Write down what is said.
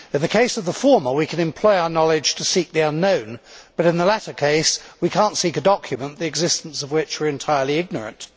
In the case of the former, we can employ our knowledge to seek the unknown, but in the latter case we cannot seek a document the existence of which we are entirely ignorant.